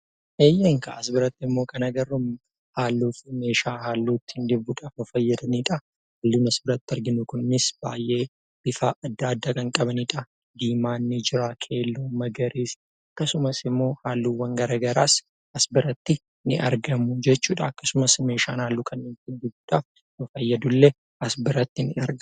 As birattimmoo kan agarru halluu fi meeshaa halluu ittiin dibuuf fayyadamanidha. Halluun asirratti arginu kunis bakka adda addaatti kan argamanidha. Diimaan ni jira, keelloon, magariisni akkasumas halluuwwan garaagaraas as biratti ni argamu jechuudha. Akkasumas immoo meeshaan halluu dibuu as biratti ni argama.